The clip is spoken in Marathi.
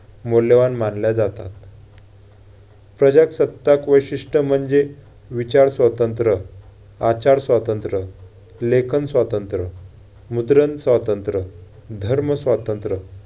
मौल्यवान मानल्या जातात. प्रजासत्ताक वैशिष्ट्य म्हणजे विचार स्वातंत्र्य, आचार स्वातंत्र्य, लेखन स्वातंत्र्य, मुद्रण स्वातंत्र्य, धर्म स्वातंत्र्य